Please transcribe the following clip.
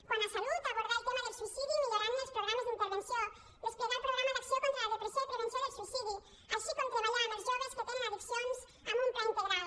quant a salut abordar el tema del suïcidi millorant els programes d’intervenció desplegar el programa d’acció contra la depressió i prevenció del suïcidi així com treballar amb els joves que tenen addiccions amb un pla integral